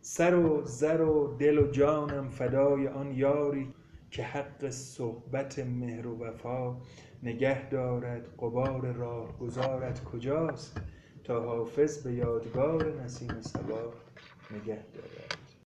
سر و زر و دل و جانم فدای آن یاری که حق صحبت مهر و وفا نگه دارد غبار راهگذارت کجاست تا حافظ به یادگار نسیم صبا نگه دارد